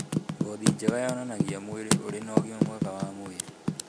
Ngothi njega yonanagia mwĩrĩ ũrĩ na ũgima mwega wa mwĩrĩ.